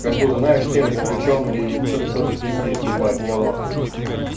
как будет знаешь телек включён и что-то кто-то пиздит ебать я в ахуе